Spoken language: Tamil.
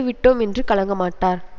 விட்டோம் என்று கலங்க மாட்டார்